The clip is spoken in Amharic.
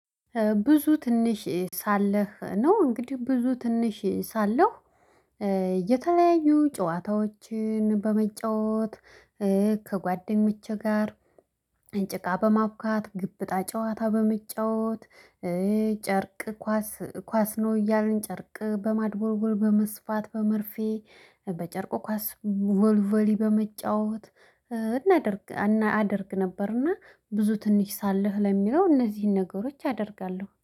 ብዙ ትንሽ ሳለህ ነው እንግዲህ ብዙ ትንሽ ሳለሁ። የተለያዩ ጨዋታዎችን በመጫወት ከጓደኞቼ ጋር። ጭቃ በማብካት ገበጣ ጨዋታ በመጫወት ጨርቅ ኳስ ኳስ ነው እያልን ጨርቅ በማድቦልቦል በመስፋት በመርፌ በጨርቁ ኳስ ቮልቮሊ በመጫወት እናደርግ። ነበርና ብዙ ትንሽ ሳለህ ለሚለው እነዚህን ነገሮች አደርጋለው